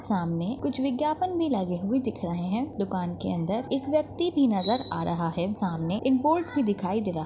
सामने कुछ विज्ञापन भी लगे हुए दिख रहे है दुकान के अंदर एक व्यक्ति भी नजर आ रहा है सामने एक बोर्ड भी दिखाई दे रहा है।